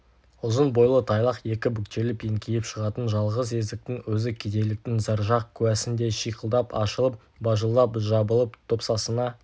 ұзын бойлы тайлақ екі бүктеліп еңкейіп шығатын жалғыз есіктің өзі кедейліктің заржақ куәсіндей шиқылдап ашылып бажылдап жабылып топсасына